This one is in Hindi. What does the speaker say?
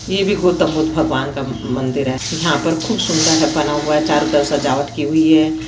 ये भी गौतम बुद्ध भगवान का मंदिर है यहाँ पर खूब सुंदर बना हुआ है चारों तरफ से सजावट की हुई है।